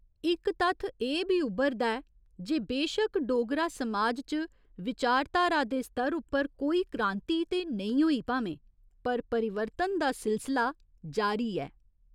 इक तत्थ एह् बी उब्भरदा ऐ जे बेशक डोगरा समाज च विचारधारा दे स्तर उप्पर कोई क्रांति ते नेईं होई भामें पर परिवर्तन दा सिलसला जारी ऐ।